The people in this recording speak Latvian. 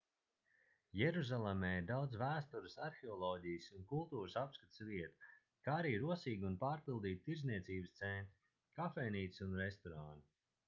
jeruzalemē ir daudz vēstures arheoloģijas un kultūras apskates vietu kā arī rosīgi un pārpildīti tirdzniecības centri kafejnīcas un restorāni